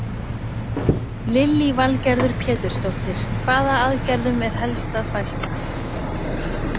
Lillý Valgerður Pétursdóttir: Hvaða aðgerðum er helst að fækka?